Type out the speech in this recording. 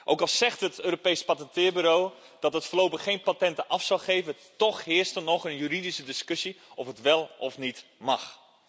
Ook al zegt het Europees Octrooibureau dat het voorlopig geen patenten af zou geven, toch heerste er nog een juridische discussie of het wel of niet mag.